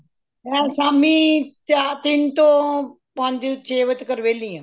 ਮੈਂ ਸ਼ਾਮੀ ਚਾਰ ਤਿੰਨ ਤੋਂ ਪੰਜ ਛੇ ਵਜੇ ਤਕਨ ਵੇਹਲੀ ਆਂ